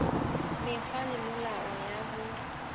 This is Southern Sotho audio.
mekgwa le melao ya ho